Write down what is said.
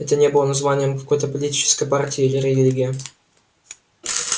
это не было названием какой-то политической партии или религии